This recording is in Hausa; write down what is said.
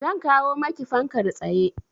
Zan kawo maki fankar tsaye.